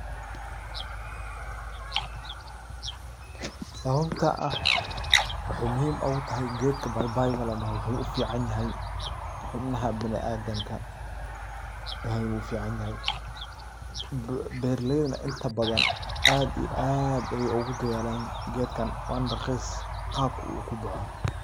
Pause sawabta ah waxay, muxxim ogu taxay, qeedka paipai ladoxo wuxu aad uficanyaxay xubnaxa biniadamka ayu uficanyaxay, beraleyda nah inta badan aad iyo aad ayay ugudadhalan geedkan wana raqis qabka u kuboxo.